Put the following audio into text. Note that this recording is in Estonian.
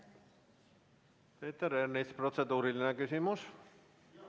Peeter Ernits, kas protseduuriline küsimus?